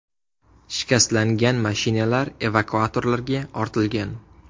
Shikastlangan mashinalar evakuatorlarga ortilgan.